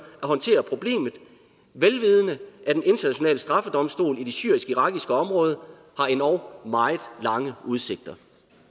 at håndtere problemet vel vidende at en international straffedomstol i det syrisk irakiske område har endog meget lange udsigter